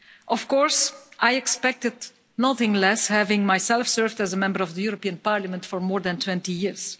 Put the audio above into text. Of course I expected nothing less, having myself served as a Member of the European Parliament for more than 20 years.